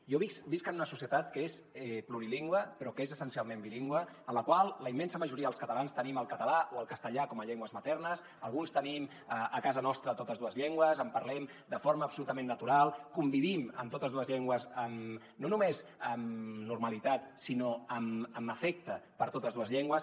jo visc en una societat que és plurilingüe però que és essencialment bilingüe en la qual la immensa majoria dels catalans tenim el català o el castellà com a llengües maternes alguns tenim a casa nostra totes dues llengües les parlem de forma absolutament natural convivim amb totes dues llengües no només amb normalitat sinó amb afecte per totes dues llen·gües